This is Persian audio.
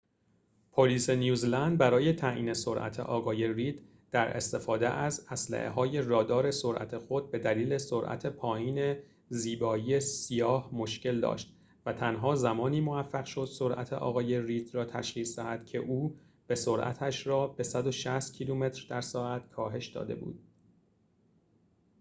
پلیس نیوزلند برای تعیین سرعت آقای رید در استفاده از اسلحه های رادار سرعت خود به دلیل سرعت پایین زیبایی سیاه مشکل داشت و تنها زمانی موفق شد سرعت آقای رید را تشخیص دهد که او به سرعتش را به ۱۶۰ کیلومتر در ساعت کاهش داده بود